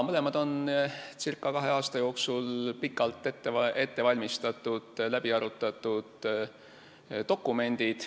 Mõlemad on circa kahe aasta jooksul pikalt ette valmistatud ja läbi arutatud dokumendid.